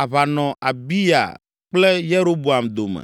aʋa nɔ Abiya kple Yeroboam dome.